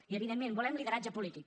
i evidentment volem lideratge polític